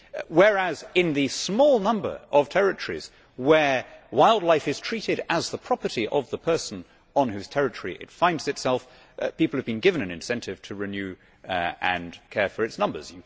Whereas, in the small number of territories where wildlife is treated as the property of the person on whose territory it finds itself, people have been given an incentive to renew and care for its numbers.